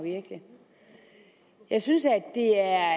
jeg synes det er